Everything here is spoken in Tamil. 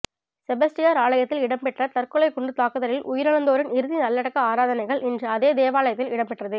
செபஸ்டியார் ஆலயத்தில் இடம்பெற்ற தற்கொலைக்குண்டுத் தாக்குதலில் உயிரிழந்தோரின் இறுதி நல்லடக்க ஆராதனைகள் இன்று அதே தேவாலயத்தில் இடம்பெற்றது